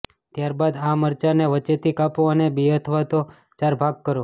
ત્યારબાદ આ મરચા ને વચ્ચે થી કાપો અને બે અથવા તો ચાર ભાગ કરો